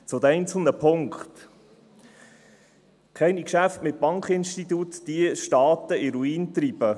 Zu den einzelnen Punkten: Keine Geschäfte mit Bankinstituten, die Staaten in den Ruin treiben.